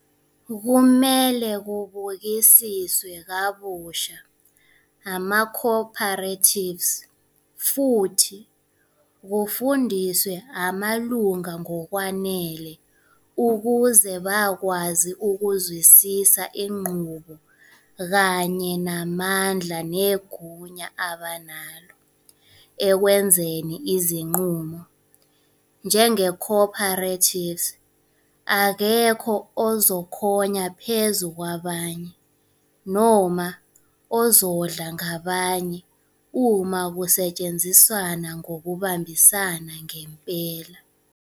Kumele kubukisiswe kabusha amaco-operatives futhi kufundiswe amalunga ngokwanele ukuze bakwazi ukuzwisisa inqubo kanye namandla negunya abanalo ekwenzeni izinqumo njengeco-operative. Akekho ozokhonya phezu kwabanye noma ozodla ngabanye uma kusetshenziswana ngokubambisana ngempela.